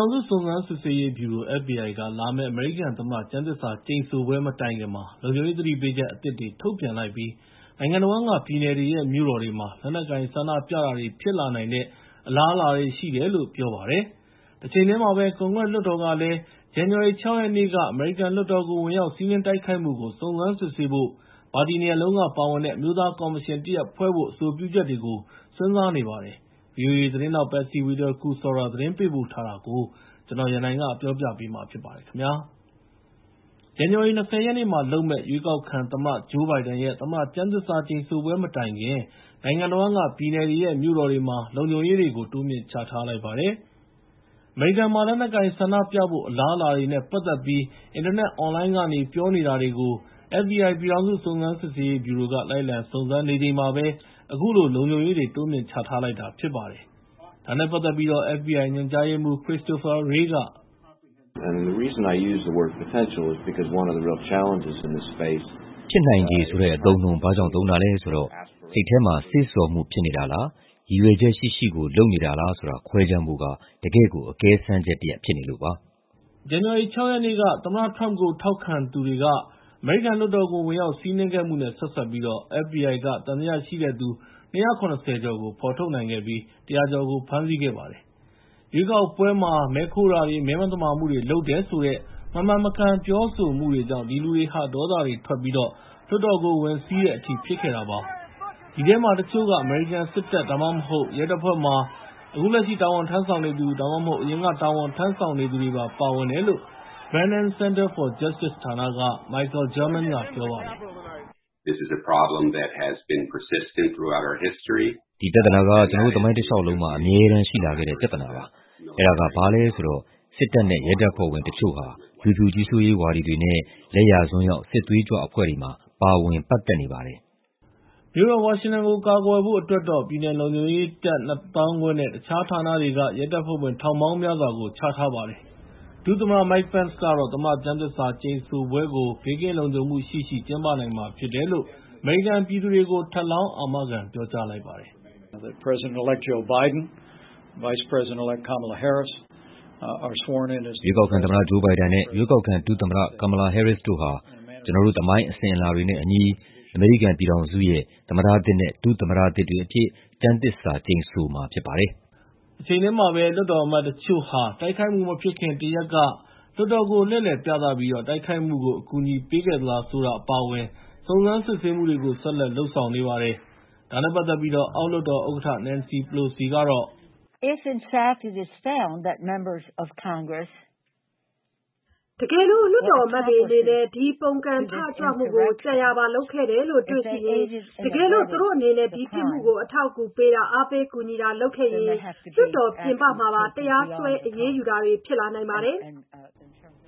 ောင်စု စုံစမ်းစစ်ဆေးရေးဗျူရို (FBI) က လာမယ့် အမေရိကန်သမ္မတ ကျမ်းသစ္စာကျိန်ဆိုပွဲ မတိုင်ခင်မှာ လုံခြုံရေး သတိပေးချက်သစ်တွေ ထုတ်ပြန်လိုက်ပြီး နိုင်ငံတဝန်းက ပြည်နယ်တွေရဲ့ မြို့တော်တွေမှာ လက်နက်ကိုင် ဆန္ဒပြတာတွေ ဖြစ်လာနိုင်တဲ့ အလားအလာတွေ ရှိတယ်လို့ ပြောပါတယ်။ တချိန်တည်းမှာပဲ ကွန်ဂရက်လွှတ်တော်ကလည်း ဇန်နဝါရီ ၆ ရက်နေ့ အမေရိကန်လွှတ်တော်ကို ဝင်ရောက်စီးနင်း တိုက်ခိုက်ခဲ့တာကို စုံစမ်းစစ်ဆေးဖို့ ပါတီနှစ်ရပ်စလုံးက ပါဝင်တဲ့ အမျိုးသားကော်မရှင်တရပ် ဖွဲ့ဖို့အတွက် အဆိုပြုချက်တွေကိုလည်း စဉ်းစားနေပါတယ်။ ဗွီအိုအေသတင်းထောက် Patsy Widakuswara သတင်းပေးပို့ထားတာကို ကိုရန်နိုင် တင်ပြပေးထားပါတယ်။ ဇန်နဝါရီ ၂၀ ရက်နေ့မှာလုပ်မယ့် အမေရိကန်ရဲ့ ရွေေးကာက်ခံသမ္မတ Joe Biden ရဲ့ သမ္မတကျမ်းသစ္စာကျိန်ဆိုပွဲ မတိုင်ခင် နိုင်ငံတဝန်းက ပြည်နယ်တွေရဲ့ မြို့တော်တွေမှာ လုံခြုံရေးတွေ တိုးမြှင့်ချထားလိုက်ပါတယ်။ အမေရိကန်မှာ လက်နက်ကိုင်ဆန္ဒပြဖို့ အလားအလာတွေနဲ့ ပတ်သက်ပြီး အင်တာနက် အွန်လိုင်းကနေ ပြောနေတာတွေကို FBI ပြည်ထောင်စု စုံစမ်းစစ်ဆေးရေးဗျူရိုက လိုက်လံစုံစမ်းနေချိန်မှာပဲ အခုလို လုံခြုံရေးတွေ တိုးမြှင့်ချထားလိုက်တာ ဖြစ်ပါတယ်။ ဒါနဲ့ပတ်သက်ပြီး FBI ညွှန်ကြားရေးမှူး Christopher Wray က... “ဖြစ်နိုင်ချေဆိုတဲ့ အသုံးအနှုန်း ဘာကြောင့်သုံးတာလဲဆိုတော့ စိတ်ထဲမှာ စေ့ဆော်မှု ဖြစ်နေတာလား၊ ရည်ရွယ်ချက်ရှိရှိကို လုပ်နေတာလား ဆိုတာကို ခွဲခြမ်းဖို့က တကယ့်ကို အကဲစမ်းချက်တရပ် ဖြစ်နေလို့ပါ။” လို့ ပြောပါတယ်။ ဇန်နဝါရီ ၆ ရက်နေ့ အမေရိကန်လွှတ်တော်ကို သမ္မတ Trump ကို ထောက်ခံတဲ့သူတွေ ဝင်ရောက်စီးနင်းခဲ့မှုနဲ့ ဆက်စပ်ပြီး FBI က သံသယရှိတဲ့သူ ၂၇၀ ကျော်ကို ဖော်ထုတ်နိုင်ခဲ့ပြီး ၁၀၀ ကျော်ကို ဖမ်းဆီးနိုင်ခဲ့ပါတယ်။ ရွေးကောက်ပွဲမှာ မဲခိုးတာတွေ မဲမသမာမှုတွေ လုပ်တယ်ဆိုတဲ့ မမှန်မကန် ပြောဆိုမှုတွေကြောင့် အဲဒီလူတွေဟာ ဒေါသတွေထွက်ပြီး လွှတ်တော်ကို ဝင်စီးတဲ့အထိ ဖြစ်ခဲ့တာပါ။ ဒီထဲမှာ တချို့က အမေရိကန်စစ်တပ် ဒါမှမဟုတ် ရဲတပ်ဖွဲ့မှာ အခုလက်ရှိ တာဝန်ထမ်းဆောင်နေသူ ဒါမှမဟုတ် အရင်က တာဝန်ထမ်းဆောင်ခဲ့သူတွေပါ ပါဝင်တယ်လို့ Brennan Center for Justice ဌာနက Michael German က ပြောပါတယ်။ “ဒီပြဿနာက ကျနော်တို့ရဲ့ သမိုင်းတလျှောက်လုံးမှာ အမြဲတမ်းရှိလာခဲ့တဲ့ ပြဿနာပါ။ အဲဒါက ဘာလဲဆိုတော့ စစ်တပ်နဲ့ ရဲက တချို့ဟာ လူဖြူကြီးစိုးရေးဝါဒီတွေနဲ့ လယ်ယာစွန်းရောက် စစ်သွေးကြွအဖွဲ့တွေမှာ ပါဝင်ပတ်သက်ပါတယ်။” မြို့တော်ဝါရှင်တန်ကို ကာကွယ်ဖို့အတွက်တော့ ပြည်နယ်လုံခြုံရေးတပ် ၂ သောင်းခွဲနဲ့ တခြားဌာနတွေက ရဲတပ်ဖွဲ့ဝင် ထောင်ပေါင်းများစွာကို ချထားပါတယ်။ ဒုသမ္မတ Mike Pence ကတော့ သမ္မတကျမ်းသစ္စာကျိန်ဆိုပွဲကို ဘေးကင်းလုံခြုံမှုရှိရှိ ကျင်းပနိုင်မှာဖြစ်တယ်လို့ အမေရိကန်ပြည်သူတွေကို ထပ်ပြီးတော့ အာမခံ ပြောဆိုပါတယ်။ “ရွေးကောက်ခံသမ္မတ Joe Biden နဲ့ ရွေးကောက်ခံ ဒုသမ္မတ Kamala Harris တို့ဟာ ကျနော်တို့ရဲ့ သမိုင်းအစဉ်အလာတွေနဲ့အညီ အမေရိကန်ပြည်ထောင်စုရဲ့ သမ္မတသစ်နဲ့ ဒုသမ္မတသစ်တွေအဖြစ်နဲ့ ကျမ်းသစ္စာကျိန်ဆိုမှာ ဖြစ်ပါတယ်။” တချိန်တည်းမှာပဲ လွှတ်တော်အမတ်တချို့ဟာ တိုက်ခိုက်မှုမဖြစ်ခင် တရက်က လွှတ်တော်ကို လှည့်လည်ပြသပြီး တိုက်ခိုက်မှုကို အကူအညီပေးခဲ့သလား ဆိုတာ အပါအဝင် စုံစမ်းစစ်ဆေးမှုတွေကို ဆက်လက်လုပ်ဆောင်နေပါတယ်။ ဒါနဲ့ပတ်သက်ပြီး အောက်လွှတ်တော်ဥက္ကဋ္ဌ Nancy Pelosi က... “တကယ်လို့ လွှတ်တော်အမတ်တွေအနေနဲ့ ဒီပုန်ကန်ထကြွမှုကို ကြံရာပါလုပ်ခဲ့တယ်လို့ တွေ့ရှိရင်၊ တကယ်လို့ သူတို့အနေနဲ့ ဒီပြစ်မှုကို အထောက်အကူပေးတာ အားပေးကူညီတာတွေ လုပ်ခဲ့ရင်၊ လွှတ်တော်ပြင်ပမှာပါ တရားစွဲ အရေးယူတာတွေ ဖြစ်လာနိုင်ပါတယ်။”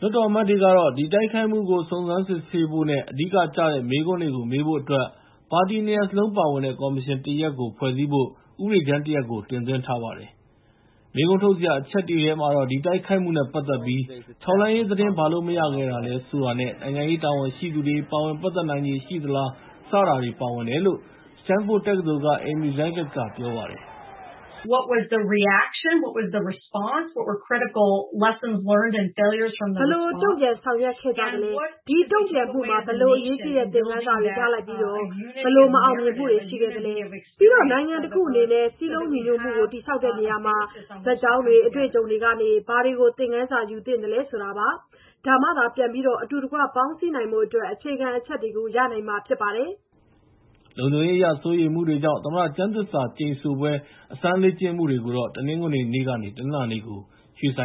လို့ ပြောပါတယ်။ လွှတ်တော်အမတ်တွေကတော့ ဒီတိုက်ခိုက်မှုကို စုံစမ်းစစ်ဆေးဖို့နဲ့ အဓိကကျတဲ့ မေးခွန်းတွေကို မေးဖို့အတွက် ပါတီ ၂ ရပ်စလုံး ပါဝင်တဲ့ ကော်မရှင်တရပ်ကို ဖွဲ့စည်းဖို့ ဥပဒေကြမ်းတရပ်ကို တင်သွင်းထားပါတယ်။ မေးခွန်းထုတ်စရာ အချက်တွေထဲမှာတော့ ဒီတိုက်ခိုက်မှုနဲ့ ပတ်သက်ပြီး ထောက်လှမ်းရေးသတင်း ဘာလို့မရခဲ့တာလဲ ဆိုတာနဲ့ နိုင်ငံရေးတာဝန်ရှိသူတွေ ပါဝင်ပတ်သက်နိုင်ချေ ရှိသလား စတာတွေ ပါဝင်တယ်လို့ Standford တက္ကသိုလ်က Amy Zegart က ပြောပါတယ်။ “ဘယ်လိုတုံ့ပြန်ဆောင်ရွက်ခဲ့ကြသလဲ၊ ဒီတုံ့ပြန်မှုမှာ ဘယ်လိုအရေးကြီးတဲ့ သင်ခန်းစာတွေ ရလိုက်ပြီး ဘယ်လိုမအောင်မြင်မှုတွေ ရှိခဲ့သလဲ၊ ပြီးတော့ နိုင်ငံတခုအနေနဲ့ စည်းလုံးညီညွတ်မှုကို တည်ဆောက်တဲ့နေရာမှာ ဇာတ်ကြောင်းတွေ၊ အတွေ့အကြုံတွေကနေ ဘာတွေကို သင်ခန်းစာယူသင့်သလဲ ဆိုတာပါ။ ဒါမှသာ ပြန်ပြီးတော့ အတူတကွ ပေါင်းစည်းနိုင်ဖို့အတွက် အခြေခံအချက်တွေကို ရမှာဖြစ်ပါတယ်။” လုံခြုံရေးအရ စိုးရိမ်မှုတွေကြောင့် သမ္မတကျမ်းသစ္စာဆိုပွဲအကြို အစမ်းလေ့ကျင့်မှုတွေကို တနင်္ဂနွေနေ့ကနေ တနင်္လာနေ့ကို ရွှေ့ပြော